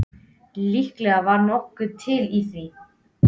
Líklega var nokkuð til í því.